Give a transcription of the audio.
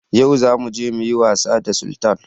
Yau za muje muyi was da Sultan